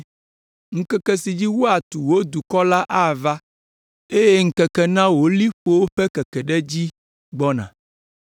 Ŋkeke si dzi woatu wò duwo la ava eye ŋkeke na wò liƒowo ƒe keke ɖe edzi gbɔna.